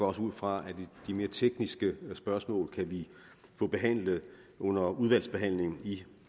også ud fra at de mere tekniske spørgsmål kan vi få behandlet under udvalgsbehandlingen i